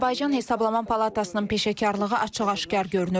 Azərbaycan Hesablama Palatasının peşəkarlığı açıq-aşkar görünür.